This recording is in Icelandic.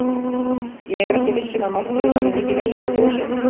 Ég er ekki viss um að Málfríður hafi mikið legið í þjóðsögum.